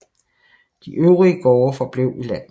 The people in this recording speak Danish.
De øvrige gårde forblev i landsbyen